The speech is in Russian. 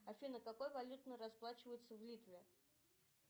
афина какой валютой расплачиваются в литве